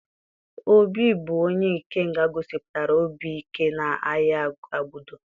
Obi bụ onye Ikenga gosipụtara obi ike n'agha Agbudo.